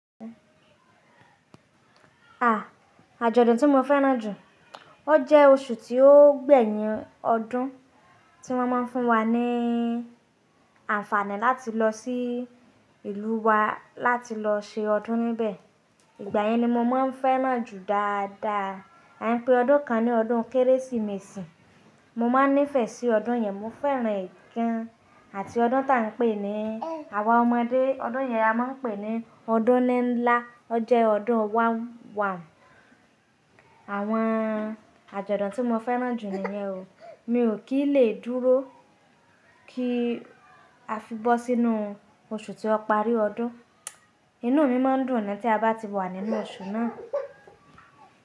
À, àjọ̀dún tí mo fẹ́ràn jù, ó jẹ́ oṣù tí ó gbẹ̀yìn ọdún tí wọ́n má ń fún wa ní àǹfààní láti lọ sí ìlú wa láti lọ se ọdún níbẹ̀. Ìgbà yẹn ni mo má ń fẹ́ràn jù dáadáa. A ń pè ọdún kan ní ọdún Kérésìmesì. Mo má ń nífẹ̀ẹ́ sí ọdún yẹn, mo fẹ́ràn ẹ̀ gan. Àti ọdún ta ń pè ní Àwa ọmọdé, ọdún yẹn a má ń pè ní ọdún níńlá. Ó jẹ́ ọdún wàùn wàùn. Àwọn àjọ̀dún tí mo fẹ́ràn jù ni nyẹn o. Mi ò kí lè dúró kí a fi bọ́ sínú oṣù tí ó parí ọdún. Inú mi má ń dùn ni tí a bá ti wà nínú oṣù náà.